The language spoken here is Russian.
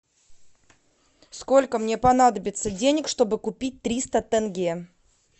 сколько мне понадобится денег чтобы купить триста тенге